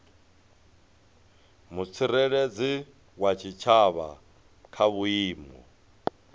mutsireledzi wa tshitshavha kha vhuimo